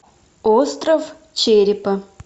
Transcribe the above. остров черепа